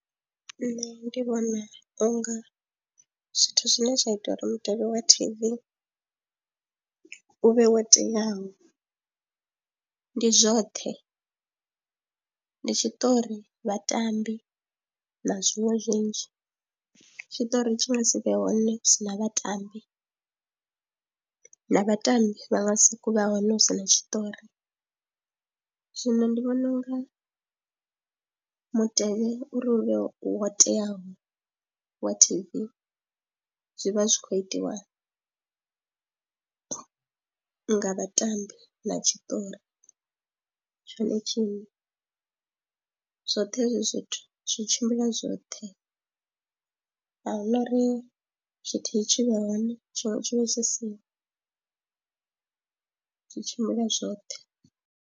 Nṋe ndi vhona u nga zwithu zwine zwa ita uri mutevhe wa T_V u vhe wo teaho, ndi zwoṱhe ndi tshiṱori vhatambi na zwiṅwe zwinzhi. Tshitori tshi nga si vhe hone hu sina vhatambi na vhatambi vha nga sokou vha hone hu si na tshiṱori, zwino ndi vhona u nga mutevhe uri u vhe u ho teaho wa T_V zwi vha zwi khou itiwa nga vhatambi na tshiṱori tshone tshine zwoṱhe hezwi zwithu zwi tshimbila zwoṱhe ahuna uri tshithihi tshi vhe hone tshiṅwe tshivhe tshi siho, zwi tshimbila zwoṱhe.